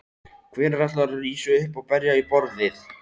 Hvenær ætlarðu að rísa upp og berja í borðið?